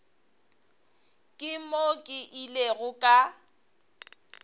ke moo ke ilego ka